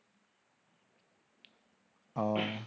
ও